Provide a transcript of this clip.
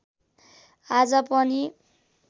आज पनि